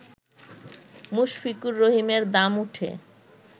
মুশফিকুর রহিমের দাম উঠে